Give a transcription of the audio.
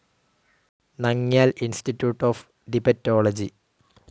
Namgyal institute of Tibetology